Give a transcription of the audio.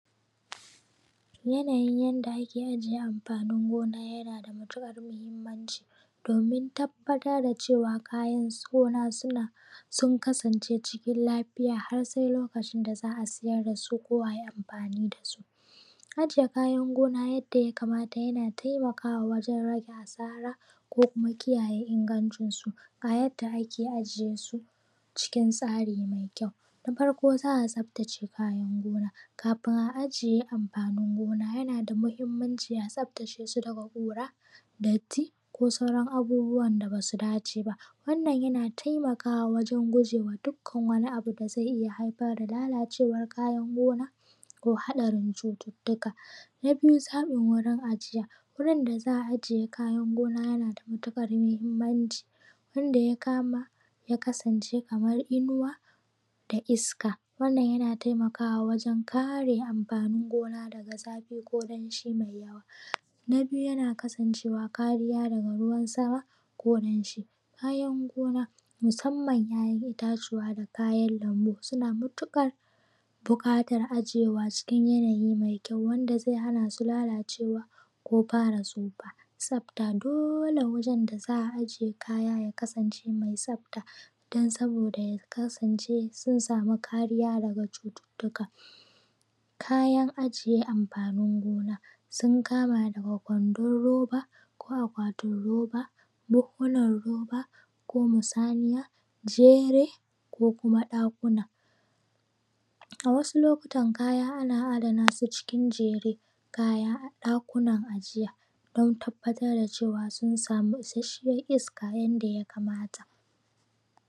Yanayin yadda ake ajiye anfanin gona yana da matuƙar muhimmanci domin tabbatar da cewa kayan gona sun kasance cikin lafiya har sai lokacin da za a siyar da su ko ayi amfani da su. Ajiye kayan gona yanda ya kamata yana taimakawa wajen rage asara, ko kuma kiyaye ingancin su. Ga yadda ake ajiye su cikin tsari mai kyau. Na farko za a tsaftace kayan gona. Kafin a ajiye amfanin gona yana da muhimmanci a tsaftace su daga ƙura, datti ko kuma abubuwan da ba su dace ba. Wannan yana taimakawa wajen gujewa dukkan wani abu da zai iya haifar da lalacewar kayan gona ko haɗarin cututtuka. Na biyu zaɓin warin ajiya wurin da za a ajiye kayan gona yana da matuƙar muhinmanci wanda ya kasance kamar inuwa da iska wannan yana taimakawa wajen kare anfanin gona daga zafi ko danshi mai yawa. Na biyu yana kasancewa kariya daga ruwan sama ko danshin kayan gona musanman ‘ya’yan itatuwa da kayan lambu suna matuƙar buƙatar ajewa cikin yanayi ma kyau wanda zai hana su lalacewa ko fara tsufa. Tsafta dole wajen da za a aje kaya ya kasance mai tsafta don saboda ya kasance sun samu kariya daga cututtuka. Kayan ajiye anfanin gona sun kama daga kwandan roba ko akwatin roba, buhhunan roba ko musaniya, jere ko kuma ɗakuna. A wasu lokutan kaya ana adana su a cikin jeren kaya a ɗakunan ajiya don tabbatar da cewa sun samu isashshiyan iska yadda ya kamata.